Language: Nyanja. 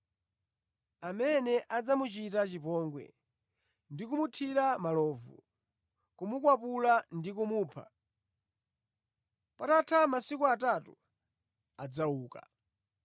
amene adzamuchita chipongwe ndi kumuthira malovu, kumukwapula ndi kumupha. Patatha masiku atatu adzauka.”